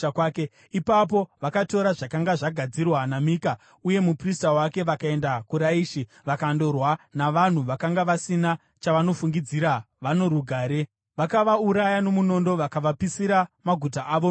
Ipapo vakatora zvakanga zvagadzirwa naMika, uye muprista wake, vakaenda kuRaishi, vakandorwa navanhu vakanga vasina chavanofungidzira vano rugare. Vakavauraya nomunondo vakavapisira maguta avo nomoto.